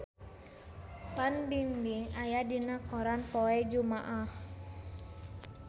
Fan Bingbing aya dina koran poe Jumaah